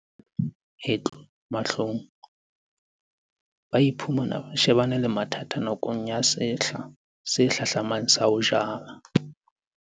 Ha ho re etlo mahlong, ba iphumana ba shebane le mathata nakong ya sehla se hlahlamang sa ho jala.